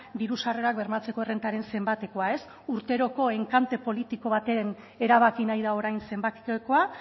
diru sarrerak bermatzeko errentaren zenbatekoa ez urteroko enkante politiko baten erabaki nahi da orain zenbatekoa